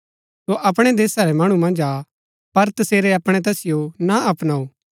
सो अपणै देशा रै मणु मन्ज आ पर तसेरै अपणै तैसिओ ना अपनाऊ